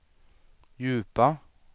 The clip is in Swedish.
djupa